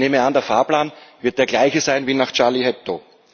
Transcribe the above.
Ich nehme an, der Fahrplan wird der gleiche sein wie nach Charlie Hebdo.